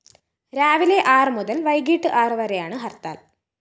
രാവിലെ ആറ് മുതല്‍ വൈകിട്ട് ആറ് വരെയാണ് ഹര്‍ത്താല്‍